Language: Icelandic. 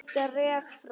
Dreg frá.